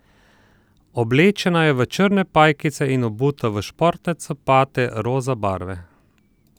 Oblečena je v črne pajkice in obuta v športne copate roza barve.